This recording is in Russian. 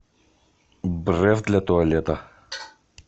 бреф для туалета